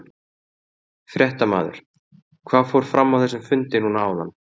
Fréttamaður: Hvað fór fram á þessum fundi núna áðan?